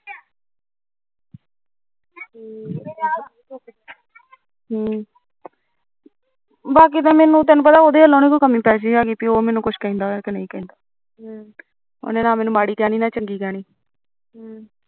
ਹਮ ਬਾਕੀ ਤਾਂ ਮੈਨੂੰ ਉਹਦੇ ਵਲੋਂ ਕੋਈ ਕਮੀ ਪੇਸ਼ੀ ਨੀ ਕਿ ਉਹ ਨੀ ਮੈਨੂੰ ਕੁਝ ਕਹਿੰਦਾ ਮੈਨੂੰ ਨਾ ਉਹਨੇ ਮਾੜੀ ਕਹਿਣੀ ਨਾ ਚੰਗੀ ਕਹਿਣੀ